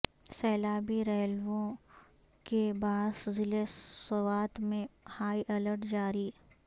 سیلابی ریلوں کے باعث ضلع سوات میں ہائی الرٹ جاری